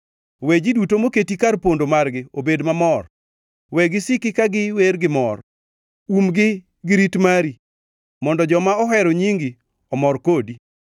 We ji duto moketi kar pondo margi obed mamor; we gisiki ka giwer gimor. Umgi gi rit mari, mondo joma ohero nyingi omor kodi.